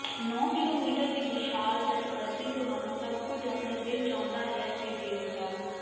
ਨੌ ਕਿਲੋਮੀਟਰ ਦੀ ਵਿਸ਼ਾਲ ਤੱਟਵਰਤੀ ਤੁਹਾਨੂੰ ਸਭ ਕੁਝ ਆਪਣੇ ਦਿਲ ਚਾਹੁੰਦਾ ਹੈ ਦੇ ਦੇਵੇਗਾ